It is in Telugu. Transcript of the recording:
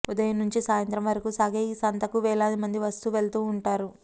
ఉదయం నుంచి సాయంత్రం వరకు సాగే ఈ సంతకు వేలాది మంది వస్తూ వెళుతూఉంటారు